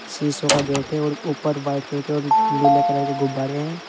शिशों का गेट है और ऊपर व्हाइट कलर के और लीले कलर के गुब्बारे हैं।